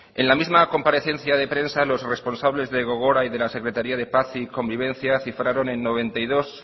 en la misma comparecencia de prensa los responsable de gogora y de la secretaría paz y convivencia cifraron en noventa y dos